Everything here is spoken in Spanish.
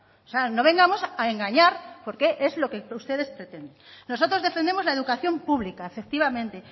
o sea no vengamos a engañar porque es lo que ustedes pretenden nosotros defendemos la educación pública efectivamente